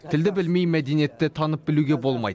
тілді білмей мәдениетті танып білуге болмайды